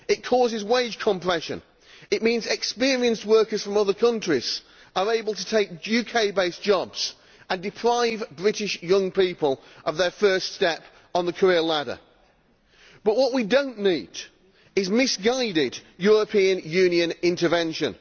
It causes wage compression and it means experienced workers from other countries are able to take UK based jobs and deprive British young people of their first step on the career ladder, and what we do not need is misguided European Union intervention.